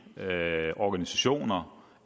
organisationer